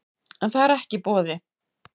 En það er ekki í boði